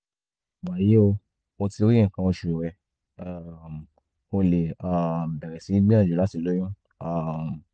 wàyí o o ti rí nǹkan oṣù rẹ um o lè um bẹ̀rẹ̀ sí gbìyànjú láti lóyún um